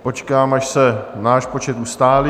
Počkám, až se náš počet ustálí.